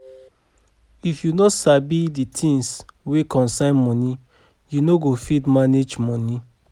If yu no sabi di things wey concern moni, yu no go fit manage moni